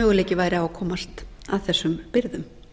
möguleiki væri á að komast að þessum birgðum það